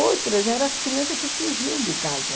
Outras eram as crianças que fugiam de casa.